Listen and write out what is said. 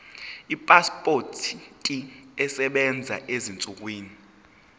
ipasipoti esebenzayo ezinsukwini